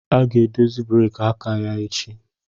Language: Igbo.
A ga-edozi breeki aka ya echi